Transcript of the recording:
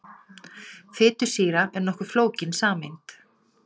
Fitusýra er nokkuð flókin sameind.